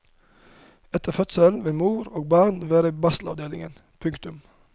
Etter fødselen vil mor og barn være i barselavdelingen. punktum